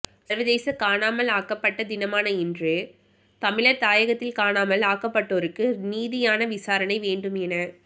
சர்வதேச காணாமல் ஆக்கப்பட்ட தினமான இன்று தமிழர் தாயகத்தில் காணாமல் ஆக்கப்பட்டோருக்கு நீதியான விசாரணை வேண்டும் என